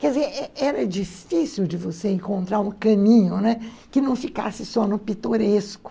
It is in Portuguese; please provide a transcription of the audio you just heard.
Quer dizer, é é era difícil de você encontrar um caminho, né, que não ficasse só no pitoresco.